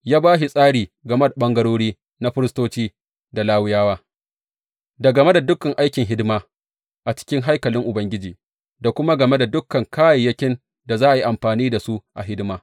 Ya ba shi tsari game ɓangarori na firistoci da Lawiyawa, da game dukan aikin hidima a cikin haikalin Ubangiji, da kuma game da dukan kayayyakin da za a yi amfani da su a hidima.